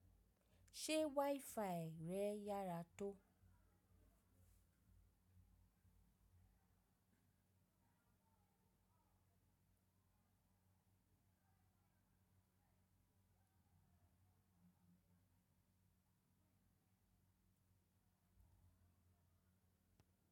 Ṣé wifi rẹ yára tó?